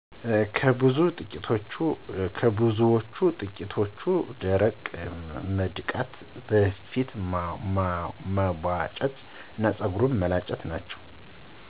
ከብዙዎቹ በጥቂቱ ደረት መድቃት፣ ፊት መቧጨር እና ፀጉር መላጨት ናቸው።